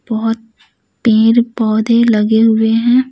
बहुत पेड़ पौधे लगे हुए हैं।